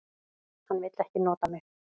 Hann vill ekki nota mig.